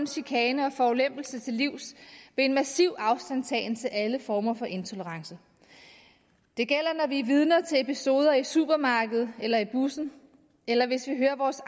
chikane og forulempelse til livs ved en massiv afstandtagen til alle former for intolerance det gælder når vi er vidner til episoder i supermarkedet eller bussen eller hvis vi hører vores